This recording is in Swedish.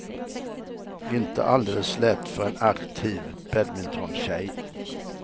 Inte alldeles lätt för en aktiv badmintontjej.